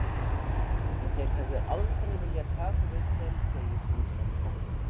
En þeir hefðu aldrei viljað taka við þeim, segir sú íslenska.